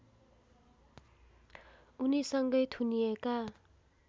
उनीसँगै थुनिएका